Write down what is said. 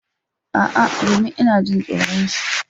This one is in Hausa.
A'a domin ina jin tsoron shi.